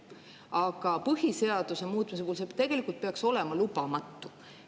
Aga põhiseaduse muutmisel peaks see olema lubamatu.